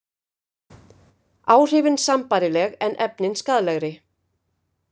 Áhrifin sambærileg en efnin skaðlegri